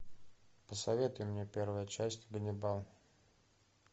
посоветуй мне первая часть ганнибал